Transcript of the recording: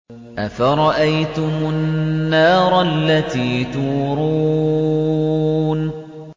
أَفَرَأَيْتُمُ النَّارَ الَّتِي تُورُونَ